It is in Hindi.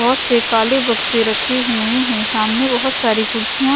बहुत से काले बक्से रखे हुए हैं सामने बहुत सारी खुर्सी--